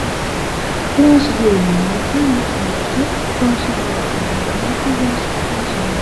Loosoho yineemmo woyiite manchi beettira loose horo afire heerannoha looso loosoho yineemmo